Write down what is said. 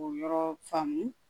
O yɔrɔ faamu